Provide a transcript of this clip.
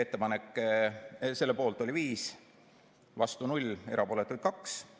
Selle poolt oli 5, vastu 0 ja erapooletuid 2.